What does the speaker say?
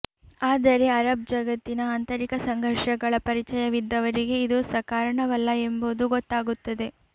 ಆದರೆ ಅರಬ್ ಜಗತ್ತಿನ ಆಂತರಿಕ ಸಂಘರ್ಷಗಳ ಪರಿಚಯವಿದ್ದವರಿಗೆ ಇದು ಸಕಾರಣವಲ್ಲ ಎಂಬುದು ಗೊತ್ತಾಗುತ್ತದೆ